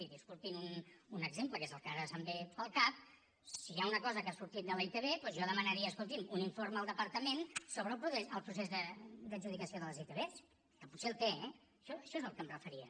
i disculpin un exemple que és el que ara em ve al cap si hi ha una cosa que ha sortit de la itv doncs jo demanaria escolti’m un informe al departament sobre el procés d’adjudicació de les itv que potser el té eh a això és al que em referia